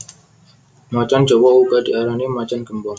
Macan jawa uga diarani macan gémbong